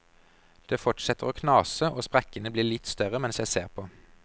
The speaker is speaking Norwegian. Det fortsetter å knase, og sprekkene blir litt større mens jeg ser på.